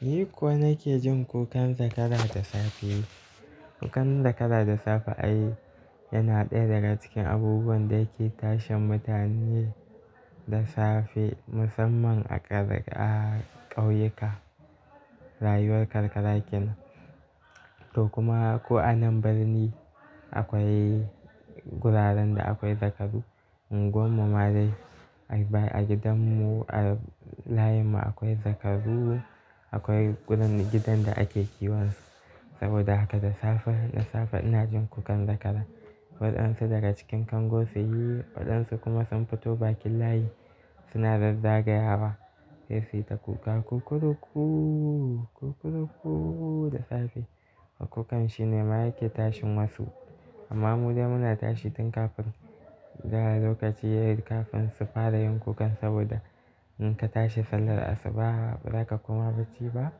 Ni ko nake jin kukan zakara da safe. Kukan zakara da safe ai yana ɗaya daga cikin abubuwan da yake tashin mutane da safe musamman a ƙauyuka, rayuwar karkara kenan to kuma ko a nan birni akwai guraren da akwai zakaru. Unguwarmu ma dai a gidan mu, a layin mu akwai zakaru, akwai gidan da ake kiwonsu. Saboda haka da safe ina jin kukan zakara. Waɗansu daga cikin kango su yi waɗansu kuma sun fito bakin layi suna zazzagayawa sai su yi ta kuka "kukuruku kukuruku" da safe. To kukan shi ne ma yake tashin masu amma mu dai muna tashi tun kafin gara lokaci yayi, kafin su fara yin kukan saboda in ka tashi sallar asuba ba za ka koma bacci ba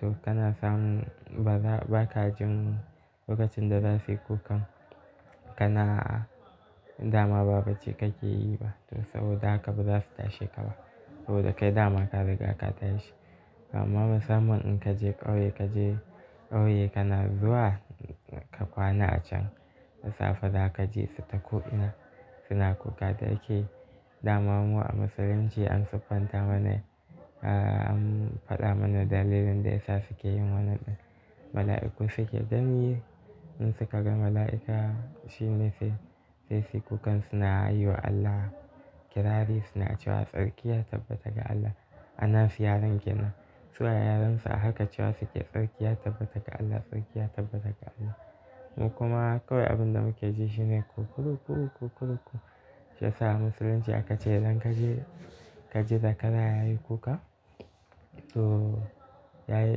to kana samun ba ka jin lokacin da za su yi kukan kana dama ba bacci kake yi ba to saboda haka ba za su tashe ka ba saboda kai dama ka riga ka tashi. Amma musamman in kaje ƙauye kaje ƙauye kana zuwa ka kwana a can da safe za ka ji su ta ko ina suna kuka da yake dama mu a musulunci an siffanta mana-- an faɗa mana dalilin da ya sa suke yin wannan. Mala'iku suke gani in suka ga mala'ika shi ne sai sai su yi kukansu na yi wa Allah kirari suna cewa tsarki ya tabbata ga Allah. A nasu yaren kenan. Su a yarensu a haka cewa suke tsarki ya tabbata ga Allah, tsarki ya tabbata ga Allah. Mu kuma kawai abin da muke ji shi ne "kukuruku kukuruku". Shiyasa musulunci aka ce idan ka ji-- ka ji zakara yayi kuka to yayi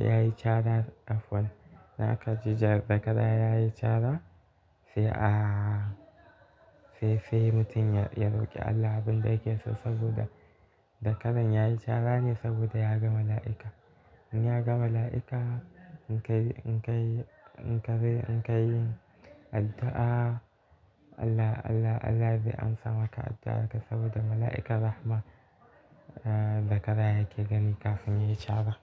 yayi cara afwan in aka ji zakara yayi cara sai ahhh sai sai mutum ya roƙi Allah abin da yake so saboda zakaran yayi cara ne saboda ya ga mala'ika. In ya ga mala'ika in ka yi in ka yi in ka yi in ka yi addu'a Allah Allah Allah zai amsa maka addu'arka saboda mala'ika Rahma zakara yake gani kafin yayi cara.